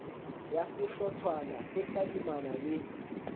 ya sehlotshwana e tadimana le